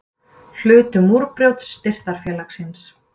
Hlutu Múrbrjót Styrktarfélagsins